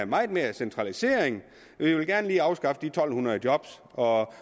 meget mere centralisering og vi vil gerne lige afskaffe de to hundrede job og